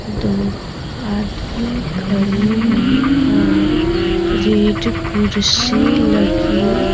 दो आदमी खड़े हैं और रेड कुर्सी लगी--